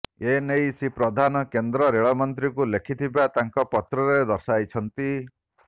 ଏନେଇ ଶ୍ରୀ ପ୍ରଧାନ କେନ୍ଦ୍ର ରେଳମନ୍ତ୍ରୀଙ୍କୁ ଲେଖିଥିବା ତାଙ୍କ ପତ୍ରରେ ଦର୍ଶାଇଛନ୍ତି